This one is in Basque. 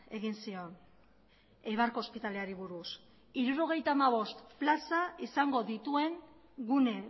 egin zion eibarko ospitaleari buruz hirurogeita hamabost plaza izango dituen gune